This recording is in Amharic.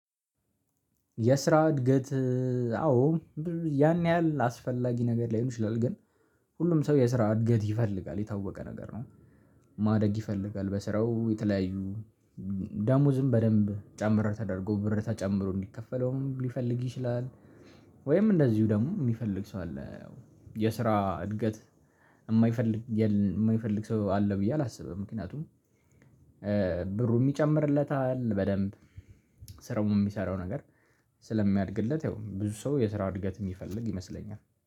የስራ እድገት። አዎ ያን ያህል አስፈላጊ ነገር ላይሆን ይችላል ግን ሁሉም ሰው የስራ እድገት ይፈልጋል የታወቀ ነገር ነው። ማደግ ይፈልጋል በስራው የተለያዩ ደሞዝም በደንብ ጨምር ተደርጎ ብር ተጨምሮ እንዲከፈለውም ሊፈልግ ይችላል። ወይም እንደዚሁ ደግሞ የሚፈልግ ሰው አለ። የስራ እድገት የማይፈልግ የማይፈልግ ሰው አለ ብዬ አላስብም። ምክንያቱም ብሩ የሚጨምርለታል በደንብ ስራዉም የሚሰራው ነገር ስለሚያድግለት ያው ብዙ ሰው የስራ እድገት የሚፈልግ ይመስለኛል